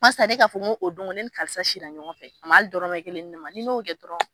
Parisa ne k'a fɔ ko o don go ne ni karisa sira ɲɔgɔn fɛ, a ma hali dɔrɔmɛ kelen di ne ma, ni n'o kɛ dɔrɔn